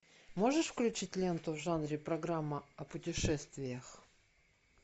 можешь включить ленту в жанре программа о путешествиях